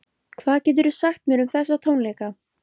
Hvað geturðu sagt mér um þessa tónleika?